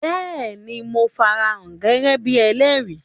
Béèni, Mo farahàn gẹ́gẹ́ bíi ẹlẹ́rìí